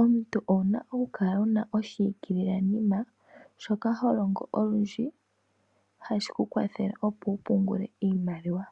Omuntu owu na okukala wu na oshiikililenima shoka ho longo olundji hashi ku kwathele opo wu pungele iimaliwa.